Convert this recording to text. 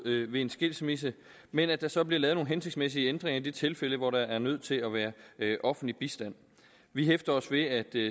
ved en skilsmisse men at der så bliver lavet nogle hensigtsmæssige ændringer i de tilfælde hvor der er nødt til at være offentlig bistand vi hæfter os ved at